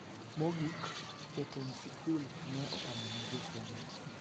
Mogik, jotend sikul ne opamo ne jo Senet .